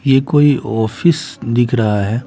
ये कोई ऑफिस दिख रहा है।